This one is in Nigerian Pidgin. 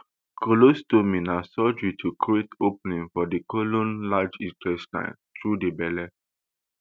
colostomy na surgery to create opening for di colon large intestine through di belle